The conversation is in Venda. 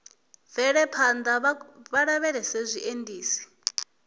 bvele phanḓa vha lavhelese zwiendisi